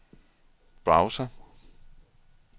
browser